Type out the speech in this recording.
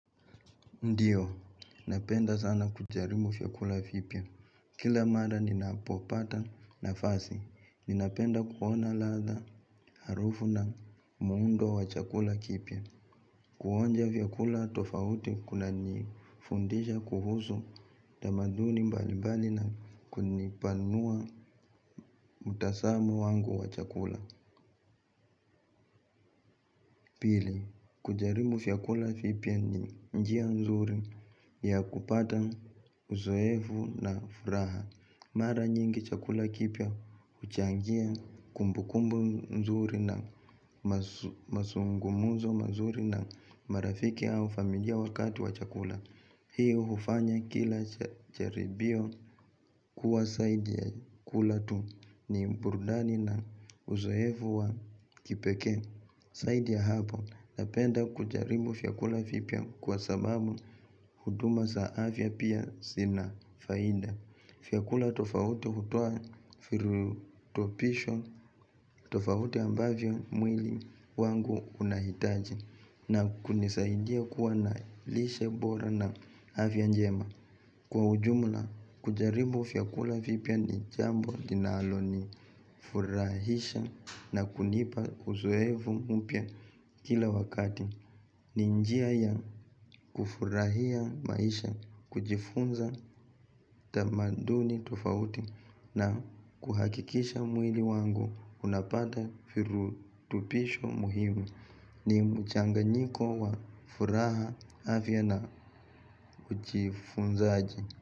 Ndio, napenda sana kujaribu vyakula vipya. Kila mala ninapopata nafasi, ninapenda kuona ladha harufu na muundo wa chakula kipya. Kuonja vyakula tofauti kuna nifundisha kuhusu tamaduni mbalibali na kunipanua mtazamo wangu wa chakula. Pili, kujaribu vyakula vipya ni njia nzuri ya kupata uzoevu na furaha. Mara nyingi chakula kipya huchangia kumbu kumbu nzuri na mazungumuzo mazuri na marafiki au familia wakati wa chakula hii hufanya kila jaribio kuwa zaidi ya kula tu ni burudani na uzoefu wa kipekee zaidi ya hapo napenda kujaribu vyakula vipya kwa sababu huduma za afya pia zina faida. Vyakula tofauti hutoa virutobisho tofauti ambavyo mwili wangu unahitaji na kunisaidia kuwa na lishe bora na afya njema. Kwa ujumla, kujaribu vyakula vipya ni jambo linalo ni furahisha na kunipa uzoevu mpya kila wakati. Ni njia ya kufurahia maisha kujifunza tamaduni tofauti na ni mchanganyiko wa furaha afya na ujifunzaji.